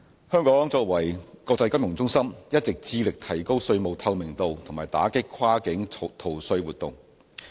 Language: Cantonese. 香港作為國際金融中心，一直致力提高稅務透明度和打擊跨境逃稅活動。